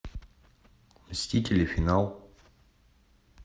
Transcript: мстители финал